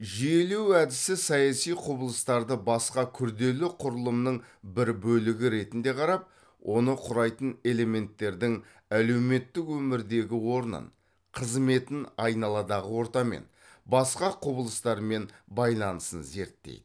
жүйелеу әдісі саяси құбылыстарды басқа күрделі құрылымның бір бөлігі ретінде қарап оны құрайтын элементтердің әлеуметтік өмірдегі орнын қызметін айналадағы ортамен басқа құбылыстармен байланысын зерттейді